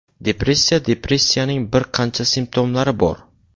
Depressiya Depressiyaning bir qancha simptomlari bor.